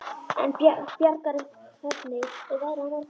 Bjargar, hvernig er veðrið á morgun?